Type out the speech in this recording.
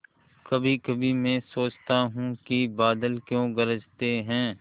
कभीकभी मैं सोचता हूँ कि बादल क्यों गरजते हैं